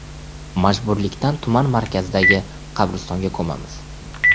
Majburlikdan tuman markazidagi qabristonga ko‘mamiz.